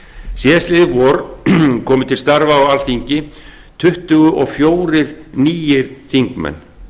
síðasta vor komu til starfa á alþingi tuttugu og fjórir nýir þingmenn